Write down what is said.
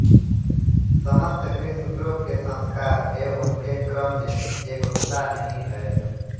समस्त गृह्यसूत्रों के संस्कार एवं उनके क्रम में एकरूपता नहीं है